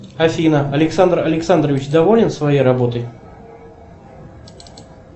афина александр александрович доволен своей работой